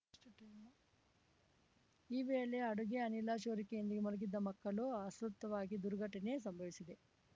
ಎಷ್ಟು ಟೈಮು ಈ ವೇಳೆ ಅಡುಗೆ ಅನಿಲ ಸೋರಿಕೆಯಾಗಿ ಮಲಗಿದ್ದ ಮಕ್ಕಳು ಅಸ್ವಸ್ಥರಾಗಿ ಈ ದುರ್ಘಟನೆ ಸಂಭವಿಸಿದೆ